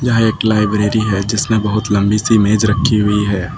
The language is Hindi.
यह एक लाइब्रेरी है जिसमें बहुत लंबी सी मेज रखी हुई है।